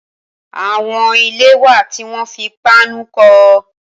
Awọn ilé wá tiwọn fi páànù kọ